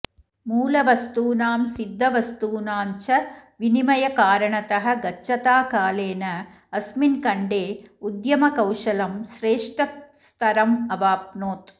मूलवस्तूनां सिद्धवस्तूनाञ्च विनिमयकारणतः गच्छता कालेन अस्मिन् खण्डे उद्यमकौशलं श्रेष्ठस्तरम् अवाप्नोत्